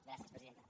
gràcies presidenta